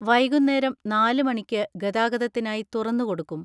വൈകുനേരം നാല് മണിക്ക് ഗതാഗതത്തിനായി തുറന്ന് കൊടുക്കും.